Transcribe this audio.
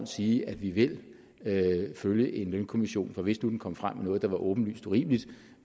sige at vi vil følge en lønkommission for hvis nu den kom frem med noget der var åbenlyst urimeligt